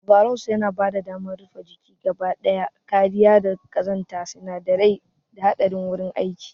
Overalls yana bada damar rufe jiki gaba daya, kariya daga ƙazanta, sinadarai, da haɗarin wurin aiki.